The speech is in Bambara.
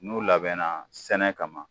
N'u labɛnna sɛnɛ kama